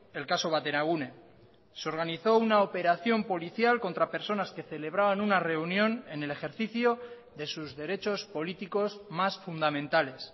el caso bateragune se organizó una operación policial contra personas que celebraban una reunión en el ejercicio de sus derechos políticos más fundamentales